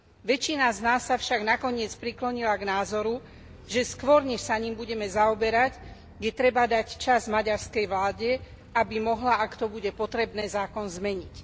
Väčšina z nás sa však nakoniec priklonila k názoru, že skôr než sa ním budeme zaoberať, je treba dať čas maďarskej vláde, aby mohla, ak to bude potrebné, zákon zmeniť.